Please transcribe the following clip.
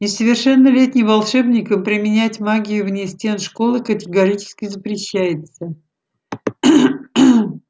несовершеннолетним волшебникам применять магию вне стен школы категорически запрещается